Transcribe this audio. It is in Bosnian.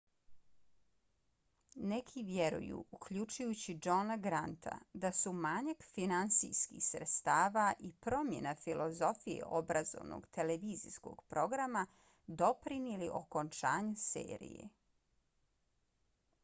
neki vjeruju uključujući johna granta da su manjak finansijskih sredstava i promjena filozofije obrazovnog televizijskog programa doprinijeli okončanju serije